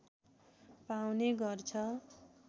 पाउने गर्छ